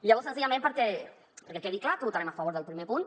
llavors senzillament perquè quedi clar que votarem a favor del primer punt